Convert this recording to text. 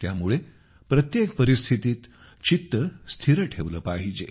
त्यामुळे प्रत्येक परिस्थितीत चित्त स्थिर ठेवले पाहिजे